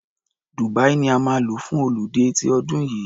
Dubia ni a máa lọ fún ọludé ti ọdún yìí.